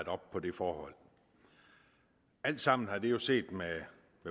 op på det forhold alt sammen har det jo set med